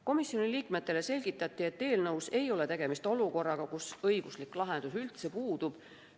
Komisjoni liikmetele selgitati, et eelnõu puhul ei ole tegemist olukorraga, kus õiguslik lahendus üldse puudub.